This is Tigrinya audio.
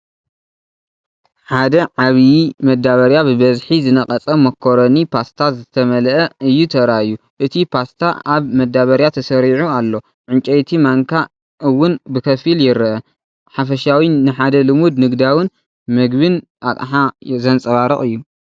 ሓደ ዓብይ መዳበርያ ብብዝሒ ዝነቐጸ ማካሮኒ ፓስታ ዝተመልአ እዩ ተራእዩ። እቲ ፓስታ ኣብ መዳበርያ ተሰሪዑ ኣሎ ፣ ዕንጨይቲ ማንካ እውን ብኸፊል ይርአ። ሓፈሻዊ ንሓደ ልሙድ ንግዳውን መግብን ኣቕሓ ዘንጸባርቕ እዩ።